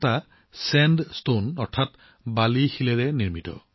ইয়াৰে এটা বেলেগ শিলৰ